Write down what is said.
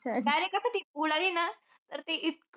Direct कसं ती उडाली ना, तर ते इतकं